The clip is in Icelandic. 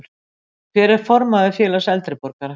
Hver er formaður félags eldri borgara?